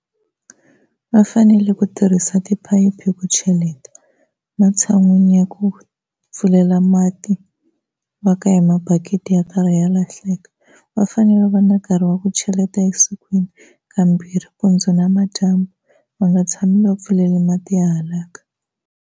Va fanele ku tirhisa tiphayiphi ku cheleta matshan'wini ya ku pfulela mati va ka hi mabakiti ya karhi ya lahleka. Va fanele va va na nkarhi wa ku cheleta evusikwini kambirhi mpundzu na madyambu va nga tshami va pfuleli mati ya halaka.